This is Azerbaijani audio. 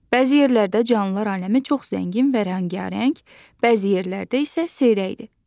Bəzi yerlərdə canlılar aləmi çox zəngin və rəngarəng, bəzi yerlərdə isə seyrəkdir.